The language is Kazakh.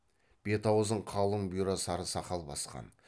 бет аузын қалың бұйра сары сақал басқан